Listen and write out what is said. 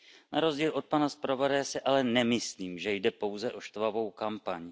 Na rozdíl od pana zpravodaje si ale nemyslím, že jde pouze o štvavou kampaň.